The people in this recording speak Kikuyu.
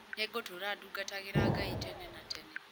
Nĩ ngũtũũra ndungatagĩra Ngai tene na tene.